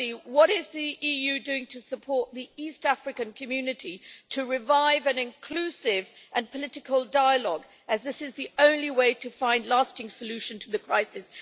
Firstly, what is the EU doing to support the East African Community to revive an inclusive and political dialogue, as this is the only way to find a lasting solution to the crisis?